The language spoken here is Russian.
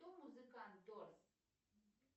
кто музыкант дорс